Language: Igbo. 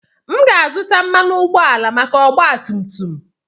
M ga-azụta mmanụ ụgbọala maka ọgba tum tum.